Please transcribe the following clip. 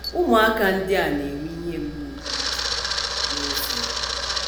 Ụmụaka ndị a na - enwe ihe mgbu nke uche n’ezie.